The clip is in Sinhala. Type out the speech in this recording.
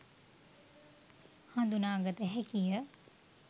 හඳුනා ගත හැකිය